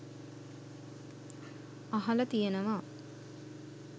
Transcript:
අහල තියෙනවා.